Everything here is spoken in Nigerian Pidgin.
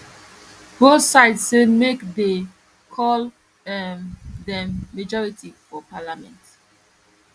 both sides say make dey call um dem majority for parliament